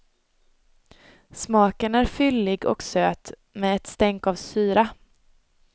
Smaken är fyllig och söt med ett stänk av syra.